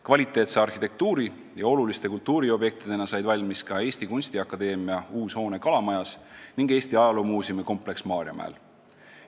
Kvaliteetse arhitektuuri ja oluliste kultuuriobjektidena said valmis ka Eesti Kunstiakadeemia uus hoone Kalamajas ning Eesti Ajaloomuuseumi kompleks Maarjamäel.